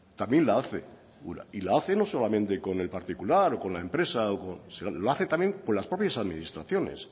también la hace ura y la hace no solamente con el particular o con la empresa o con lo hace también con las propias administraciones